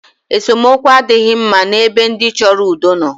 Esemookwu adịghị mma n' ebe ndị chọrọ udo nọ.